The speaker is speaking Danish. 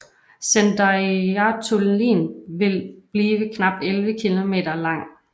Sandoyartunnilin vil blive knap 11 km lang